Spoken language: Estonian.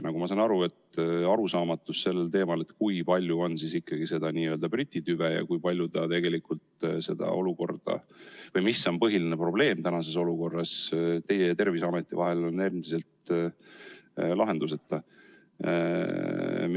Nagu ma saan aru, on arusaamatus sellel teemal, kui palju on seda n-ö Briti tüve ja kui palju see tegelikult olukorda, põhiline probleem tänases olukorras teie ja Terviseameti vahel, mis on endiselt lahenduseta.